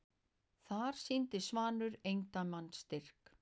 Þar sýndi Svanur eindæma styrk.